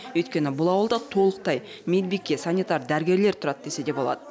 өйткені бұл ауылда толықтай медбике санитар дәрігерлер тұрады десе де болады